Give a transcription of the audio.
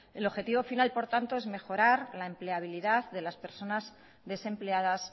el objetivo final por tanto es mejorar la empleabilidad de las personas desempleadas